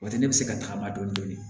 O tɛ ne bɛ se ka tagama dɔni